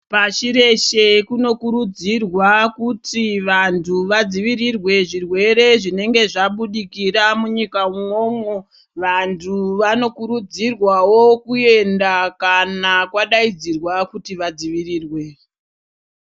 Pashi reshe kunokurudzirwa kuti vantu vadzivirirwe zvirwere zvinenge zvabudikira munyika mwomwo ,vantu vanokurudzirwawo kuyenda kana kwadayidzirwa kuti vadzivirirwe.